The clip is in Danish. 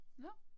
Nåh